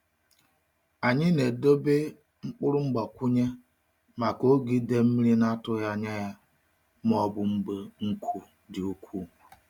Anyị na-edobe mkpụrụ mgbakwunye maka oge idei mmiri na-atụghị anya ya ma ọ bụ mgbe nkụ dị ukwuu.